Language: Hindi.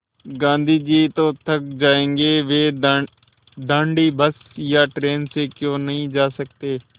गाँधी जी तो थक जायेंगे वे दाँडी बस या ट्रेन से क्यों नहीं जा सकते